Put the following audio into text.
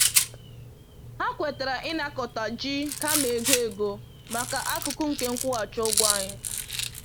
Ha kwetara ịnakọta ji kama ego ego maka akụkụ nke nkwụghachi ụgwọ anyị